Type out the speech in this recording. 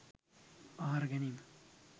ආහාර ගැනීම.